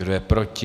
Kdo je proti?